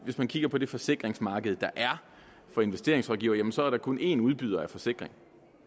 hvis vi kigger på det forsikringsmarked der er for investeringsrådgivere så er der kun én udbyder af forsikringer